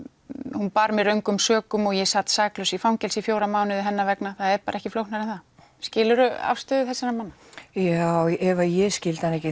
hún bar mig röngum sökum og ég sat saklaus í fangelsi í fjóra mánuði hennar vegna það er bara ekki flóknara en það skilur þú afstöðu þessara manna já ef ég skildi hana ekki